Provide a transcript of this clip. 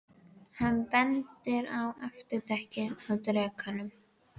Hann bendir á afturdekkið á drekanum.